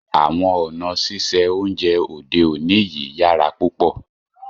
Àwọn ọ̀na sísẹ ọ̀unjẹ òdè ọ̀ní yíyàrá púpọ̀